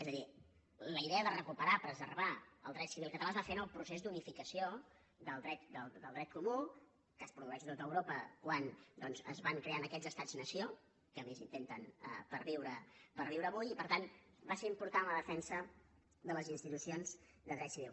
és a dir la idea de recuperar preservar el dret civil català es va fer en el procés d’unificació del dret comú que es produeix a tot europa quan doncs es van creant aquests estats nació que a més intenten perviure avui i per tant va ser important la defensa de les institucions de dret civil